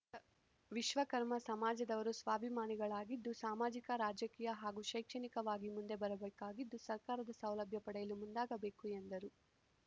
ವಿಶ್ವಕರ್ಮ ಸಮಾಜದವರು ಸ್ವಾಭಿಮಾನಿಗಳಾಗಿದ್ದು ಸಾಮಾಜಿಕ ರಾಜಕೀಯ ಹಾಗೂ ಶೈಕ್ಷಣಿಕವಾಗಿ ಮುಂದೆ ಬರಬೇಕಾಗಿದ್ದು ಸರ್ಕಾರದ ಸೌಲಭ್ಯ ಪಡೆಯಲು ಮುಂದಾಗಬೇಕು ಎಂದರು